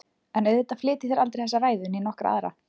En auðvitað flyt ég þér aldrei þessa ræðu né nokkra aðra.